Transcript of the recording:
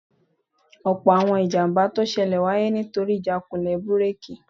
Ọ̀pọ̀ àwọn ìjàmbá tó ṣẹlẹ̀ wáyé nítorí ìjákulẹ̀ búrèkì